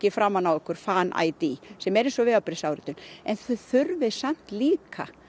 framan á ykkur Fan ID sem er eins og vegabréfsáritun en þið þurfið samt líka